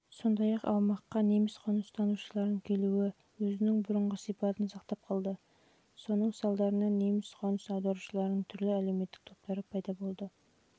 сондай-ақ аумаққа неміс қоныстанушыларының келуі өзінің бұрынғы сипатын сақтап қалды соның салдарынан неміс қоныс аударушыларының түрлі әлеуметтік топтары